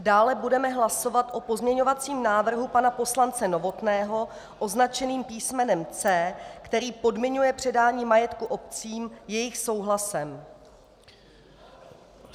Dále budeme hlasovat o pozměňovacím návrhu pana poslance Novotného označeném písmenem C, který podmiňuje předání majetku obcím jejich souhlasem.